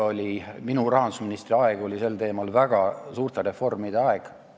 Minu rahandusministriks oleku aeg oli sel teemal väga suurte reformide aeg.